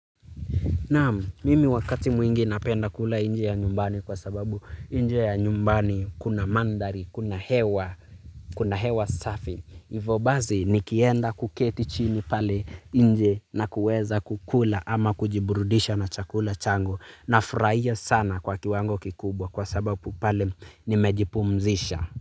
Naamu, mimi wakati mwingi napenda kula nje ya nyumbani kwa sababu nje ya nyumbani kuna mandari, kuna hewa, kuna hewa safi. Ivo basi nikienda kuketi chini pale nje na kuweza kukula ama kujiburudisha na chakula changu. Na furahia sana kwa kiwango kikubwa kwa sababu pale nimejipumzisha.